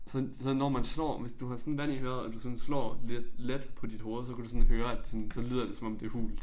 Så så når man slår med du har sådan vand i øret og du sådan slår lidt let på dit hoved så kan du sådan høre at det sådan så lyder det som om det hult